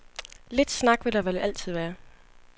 Lidt snak vil der vel altid være.